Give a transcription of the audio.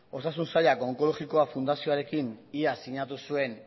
osasun sariak onkologikoa fundazioarekin iaz sinatu zuen